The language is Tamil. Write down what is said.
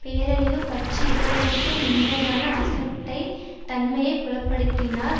பேரழிவு பற்றி இகழ்வூட்டும் விந்தையான அசட்டைத் தன்மையை புலப்படுத்தினார்